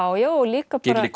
já og líka